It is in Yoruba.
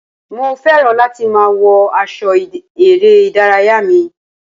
Mo fẹ́ràn láti máa wọ aṣọ eré ìdárayá mi.